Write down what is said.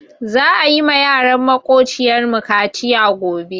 Za'a yi ma yaran maƙociyar mu kaciya gobe.